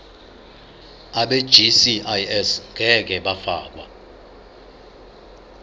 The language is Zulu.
abegcis ngeke bafakwa